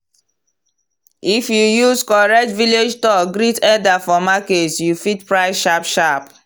if you use correct village talk greet elder for market you fit price sharp sharp.